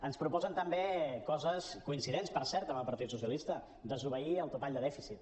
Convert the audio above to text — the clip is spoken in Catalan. ens proposen també coses coincidents per cert amb el partit socialista desobeir el topall de dèficit